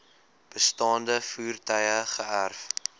bestaande voertuie geërf